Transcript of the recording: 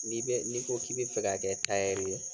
N'i bɛ n'i ko k'i bɛ fɛ ka kɛ tayɛri ye